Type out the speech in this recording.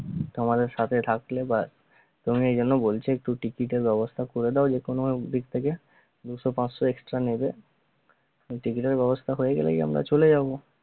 তোমাদের সাথে থাকলে বা তোমায় এইজন্য বলছি ticket এর ব্যবস্থা করে দাও যেকোনো ভাবে দিক থেকে দুইশো পাঁচশো extra নিল ticket এর ব্যবস্থা হয়ে গেলেই আমরা চলে যাব